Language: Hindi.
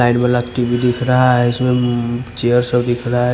साइड वाला टी_वी दिख रहा है इसमें चेयर सब दिख रहा है।